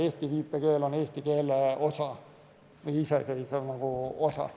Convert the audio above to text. Eesti viipekeel on eesti keele osa, iseseisev osa.